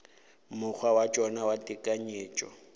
mokgwa wa tšona wa tekanyetšo